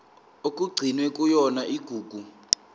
okugcinwe kuyona igugu